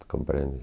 compreende?